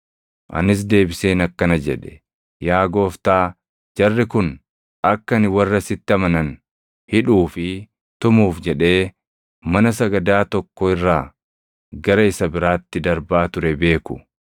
“Anis deebiseen akkana jedhe; ‘Yaa Gooftaa jarri kun akka ani warra sitti amanan hidhuu fi tumuuf jedhee mana sagadaa tokko irraa gara isa biraatti darbaa ture beeku.